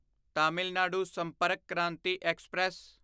Tamil Nadu Sampark Kranti express